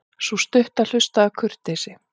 Sú stutta hlustaði af kurteisi.